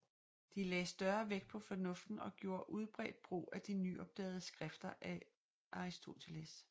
De lagde større vægt på fornuften og gjorde udbredt brugt af de nyopdagede skrifter a Arisoteles